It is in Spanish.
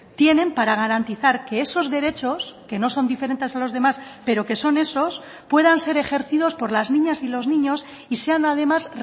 tienen para garantizar que esos derechos que no son diferentes a los demás pero que son esos puedan ser ejercidos por las niñas y los niños y sean además